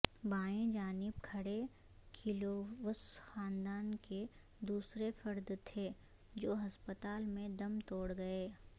بائیں جانب کھڑے کلووس خاندان کے دوسرے فرد تھے جو ہسپتال میں دم توڑ گئے